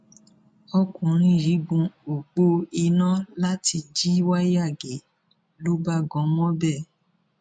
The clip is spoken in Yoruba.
ọkùnrin yìí gun ọpọ iná láti jí wáyà gé ló bá gan mọbẹ